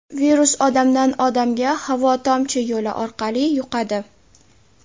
Virus odamdan odamga havo-tomchi yo‘li orqali yuqadi.